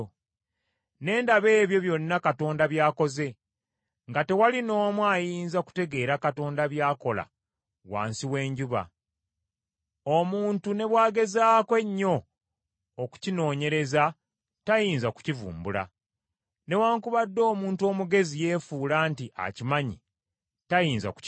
Ne ndaba ebyo byonna Katonda by’akoze, nga tewali n’omu ayinza kutegeera Katonda by’akola wansi w’enjuba, omuntu ne bw’agezaako ennyo okukinoonyereza tayinza kukivumbula. Newaakubadde omuntu omugezi yeefuula nti akimanyi, tayinza kukitegeera.